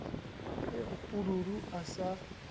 e re pududu a sa